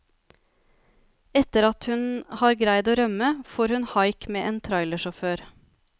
Etter at hun har greid å rømme, får hun haik med en trailersjåfør.